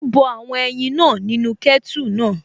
Ó bọ àwọn ẹyin náà nínú kẹ́tù náà